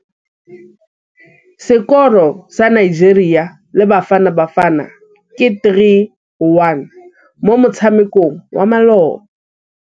Sekôrô sa Nigeria le Bafanabafana ke 3-1 mo motshamekong wa malôba.